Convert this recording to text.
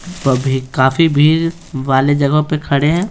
व भी काफी भीड़ वाले जगहों पर खड़े हैं।